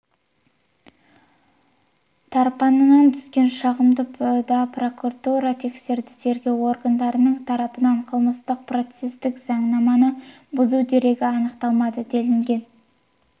тарапынан түскен шағымды да прокуратура тексерді тергеу органдарының тарапынан қылмыстық-процестік заңнаманы бұзу дерегі анықталмады делінген